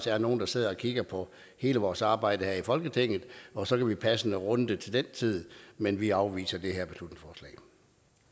er nogle der sidder og kigger på hele vores arbejde her i folketinget og så kan vi passende runde det til den tid men vi afviser